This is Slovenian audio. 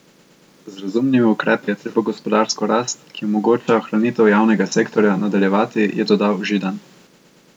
Z razumnimi ukrepi je treba gospodarsko rast, ki omogoča ohranitev javnega sektorja, nadaljevati, je dodal Židan.